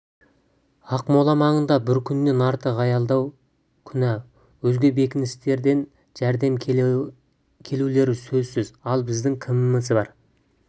ақмола маңында бір күннен артық аялдау күнә өзге бекіністерден жәрдем келулері сөзсіз ал біздің кіміміз бар